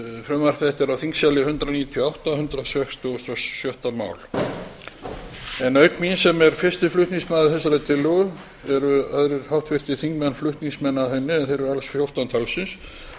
þetta er á þingskjali hundrað níutíu og átta og hundrað sextugasta og sjötta mál auk mín sem er fyrsti flutningsmaður þessarar tillögu eru aðrir háttvirtir þingmenn flutningsmenn að henni en þeir eru alls fjórtán talsins